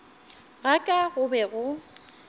ga ka go be go